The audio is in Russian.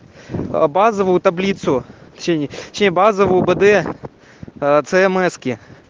аа базовую таблицу точнее не точнее базовую бд ц эмеки